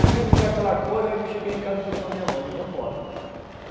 que me deu aquela coisa, aí eu cheguei em casa e falei para a minha mãe, digo, vou me embora.